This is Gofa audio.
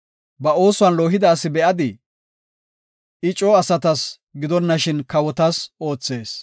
Ba oosuwan loohida asi be7adii? I coo asatas gidonashin kawotas oothees.